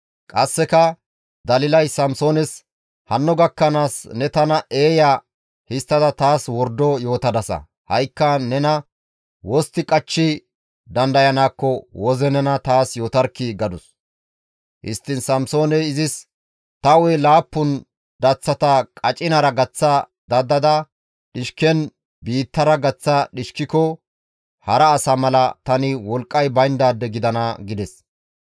Qasseka, Dalilay Samsoones, «Hanno gakkanaas ne tana eeya histtada taas wordo yootadasa. Ha7ikka nena wostti qachchi dandayanaakko woze nena taas yootarkkii!» gadus. Histtiin Samsooney izis, «Ta hu7e laappun daththata qacinara gaththa dadada dhishken biittara gaththa dhishkiko hara asa mala tani wolqqay bayndaade gidana» gides.